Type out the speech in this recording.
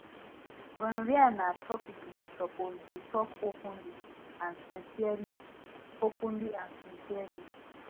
gonorrhea na topic we suppose dey talk openly and sincerely openly and sincerely